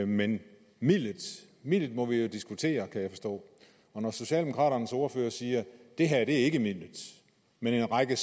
men midlet midlet må vi jo diskutere kan jeg forstå socialdemokraternes ordfører siger at det her ikke er midlet men at en række